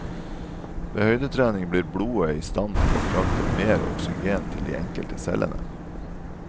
Ved høydetrening blir blodet i stand til å frakte mere oksygen til de enkelte cellene.